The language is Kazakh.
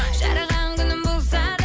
жараған күнің болса да